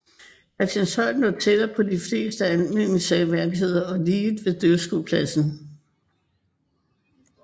Christianshøj lå tættere på de fleste af Almindingens seværdigheder og lige ved dyrskuepladsen